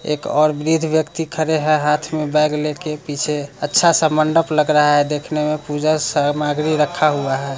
एक और वृद्ध व्यक्ति खड़े हैं हाथ में बैग लेके पीछे अच्छा सा मडप लग रहा है देखने में पूजा सामग्री रखा हुए है।